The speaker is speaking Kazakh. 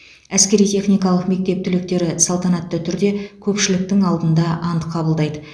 әскери техникалық мектеп түлектері салтанатты түрде көпшіліктің алдында ант қабылдайды